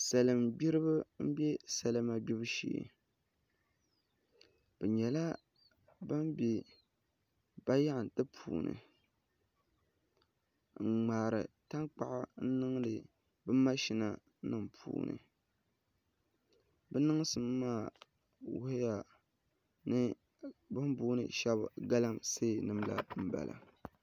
salin' gbiriba n-be salima gbibu shee bɛ nyɛla bɛn be bayaɣiti puuni n-ŋmaari tankpaɣu n-niŋdi mashinanima puuni bɛ niŋsim maa wuhiya ni bɛ ni booni shɛba galamseenima la m-bala